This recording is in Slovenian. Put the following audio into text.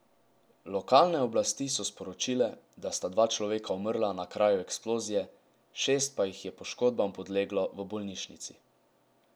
Lokalne oblasti so sporočile, da sta dva človeka umrla na kraju eksplozije, šest pa jih je poškodbam podleglo v bolnišnici.